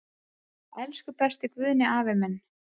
Elsku besti Guðni afi minn.